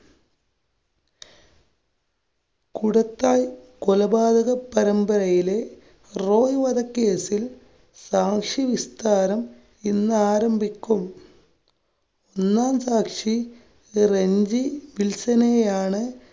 കൂടത്തായ് കൊലപാതക പരമ്പരയിലെ റോയ് വധക്കേസില്‍ സാക്ഷി വിസ്താരം ഇന്നാരംഭിക്കും. ഒന്നാം സാക്ഷി റെന്‍ജി വില്‍സനെയാണ്